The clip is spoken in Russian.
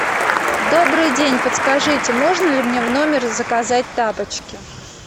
добрый день подскажите можно ли мне в номер заказать тапочки